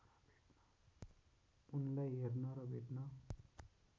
उनलाई हेर्न र भेट्न